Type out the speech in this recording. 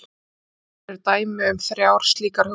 Hér á eftir eru dæmi um þrjár slíkar hugmyndir.